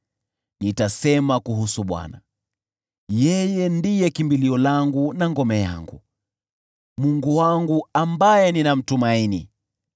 Nitasema kumhusu Bwana , “Yeye ndiye kimbilio langu na ngome yangu, Mungu wangu, ambaye ninamtumaini.”